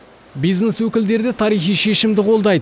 бизнес өкілдері де тарихи шешімді қолдайды